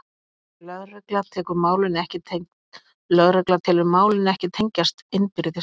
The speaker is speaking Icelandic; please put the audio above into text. Lögregla telur málin ekki tengjast innbyrðis